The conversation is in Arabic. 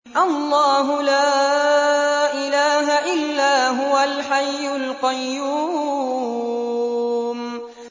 اللَّهُ لَا إِلَٰهَ إِلَّا هُوَ الْحَيُّ الْقَيُّومُ